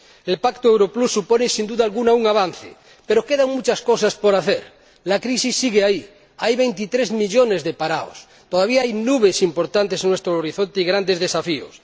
El Pacto Euro Plus supone, sin duda alguna, un avance, pero quedan muchas cosas por hacer. La crisis sigue ahí, hay veintitrés millones de parados y todavía hay nubes importantes en nuestro horizonte y grandes desafíos.